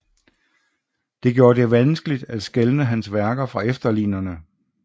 Det gjorde det vanskeligt at skelne hans værker fra efterlignerne